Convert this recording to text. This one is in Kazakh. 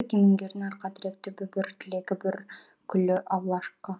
кемеңгердің арқа тірек түбі бір тілегі бір күллі алашқа